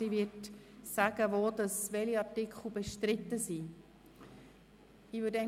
Sie wird zu Beginn sagen, welche Artikel bestritten sind.